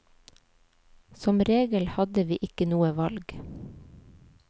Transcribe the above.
Som regel hadde vi ikke noe valg.